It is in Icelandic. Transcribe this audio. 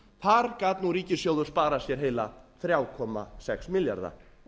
þar gat nú ríkissjóður sparað sér heila þrjá komma sex milljarða